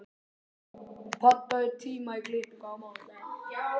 Dísella, pantaðu tíma í klippingu á mánudaginn.